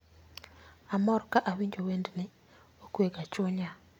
Amor ka awinjo wendni, okwe ga chunya